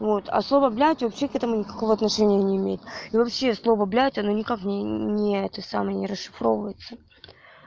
а слово блядь вообще к этому никакого отношения не имеет и вообще слово блядь оно никак не это самое не расшифровывается